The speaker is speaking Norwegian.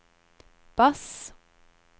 bass